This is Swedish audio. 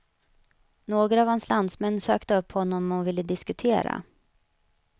Några av hans landsmän sökte upp honom och ville diskutera.